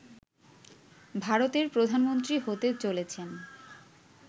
ভারতের প্রধানমন্ত্রী হতে চলেছেন